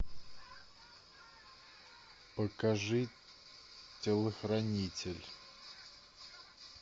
покажи телохранитель